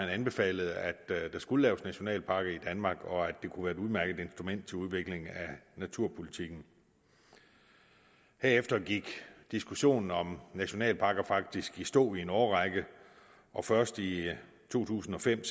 anbefalede at der skulle laves nationalparker i danmark og at det kunne være et udmærket instrument til udvikling af naturpolitikken herefter gik diskussionen om nationalparker faktisk i stå i en årrække og først i to tusind og fem